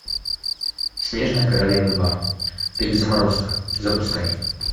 снежная королева два перезаморозка запускай